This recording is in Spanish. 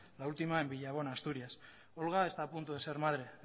la última en villabona en asturias olga está a punto de ser madre